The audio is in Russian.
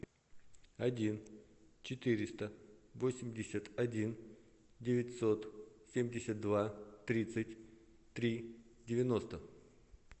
один четыреста восемьдесят один девятьсот семьдесят два тридцать три девяносто